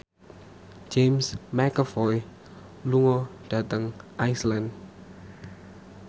James McAvoy lunga dhateng Iceland